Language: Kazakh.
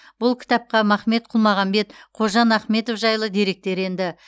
бұл кітапқа махмет құлмағамбет қожан ахметов жайлы деректер енді